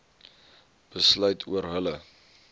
besluit oor hulle